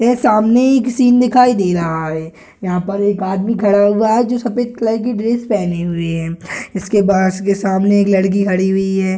यह सामने एक सीन दिखाई दे रहा है यहां पर एक आदमी खड़ा हुआ है जो सफेद कलर की ड्रेस पहने हुए हैं इसके बाद इसके सामने एक लड़की खड़ी हुई है।